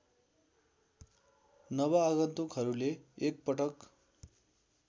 नव आगन्तुकहरूले एकपटक